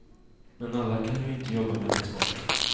Men alla kan ju inte jobba med export.